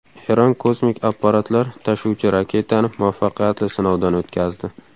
Eron kosmik apparatlar tashuvchi raketani muvaffaqiyatli sinovdan o‘tkazdi.